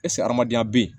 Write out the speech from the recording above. hadamadenya bɛ yen